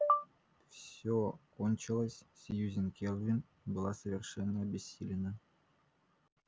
все кончилось сьюзен кэлвин была совершенно обессилена